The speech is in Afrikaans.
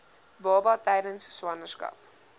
baba tydens swangerskap